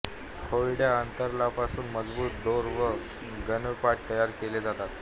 खोडाच्या अंतरसालापासून मजबूत दोर व गोणपाट तयार केले जातात